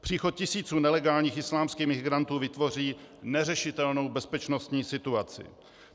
Příchod tisíců nelegálních islámských imigrantů vytvoří neřešitelnou bezpečnostní situaci.